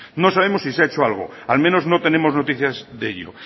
no sabemos si se ha hecho algo al menos no tenemos noticias de ello